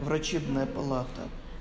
врачебная палата